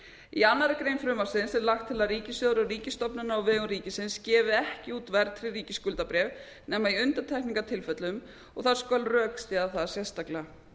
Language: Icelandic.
í annarri grein frumvarpsins er lagt til að ríkissjóður og ríkisstofnanir á vegum ríkisins gefi ekki út verðtryggð ríkisskuldabréf nema í undantekningartilfellum og það skal rökstyðja það sérstaklega